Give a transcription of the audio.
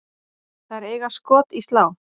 Þær eiga skot í slá.